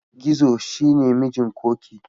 Gizo shi ne mijin Ƙoƙi.